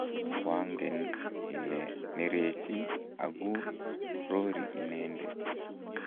koangen ile nerechi aku rori inende